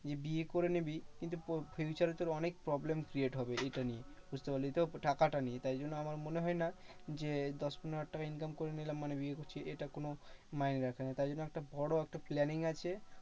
তুই বিয়ে করে নিবি কিন্তু future এ তোকে অনেক problem create হবে এইটা নিয়ে, বুঝতে পারলি তো? টাকাটা নিয়ে। তাই জন্য আমার মনে হয় না যে, দশ পনেরো হাজার টাকা income করে নিলাম মানে বিয়ে করছি। এটা কোনো তাই জন্য একটা বড় একটা planning আছে।